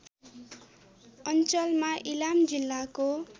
अञ्चलमा इलाम जिल्लाको